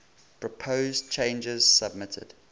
proposed changes submitted